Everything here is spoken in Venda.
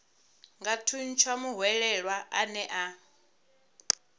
nga thuntsha muhwelelwa ane a